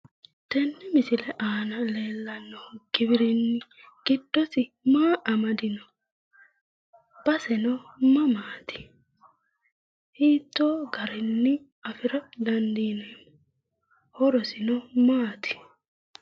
Tenne misile aana leellanno giwirinni giddosi maa amadino? Basesino mamaati? Hiittoo garinni afira dandiineemmo? Horosino maati?